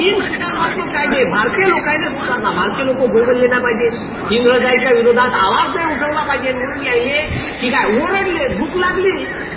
तीन सुधारणात्मक कायदे भारतीय लोकनले सुधारणा भारतीय लोक बोंबले नाही पाहिजे इंग्रजायीच्या विरोधात आवाज उठवला नाही पाहिजे म्हणून यानले ठीक आहे ओरडले भूक लागली